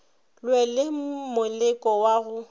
lwe le moleko wa go